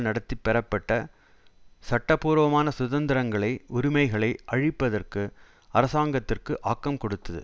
நடத்தி பெறப்பட்ட சட்டபூர்வமான சுதந்திரங்களை உரிமைகளை அழிப்பதற்கு அரசாங்கத்திற்கு ஆக்கம் கொடுத்தது